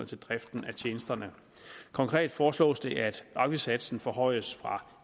til driften af tjenesterne konkret foreslås det at afgiftssatsen forhøjes fra